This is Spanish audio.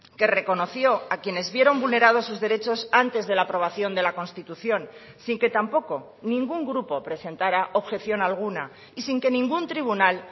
que reconoció a quienes vieron vulnerados sus derechos antes de la aprobación de la constitución sin que tampoco ningún grupo presentara objeción alguna y sin que ningún tribunal